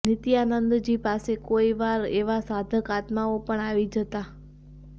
નિત્યાનંદજી પાસે કોઈ વાર એવા સાધક આત્માઓ પણ આવી જતા